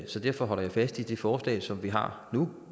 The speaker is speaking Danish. så derfor holder jeg fast i det forslag som vi har nu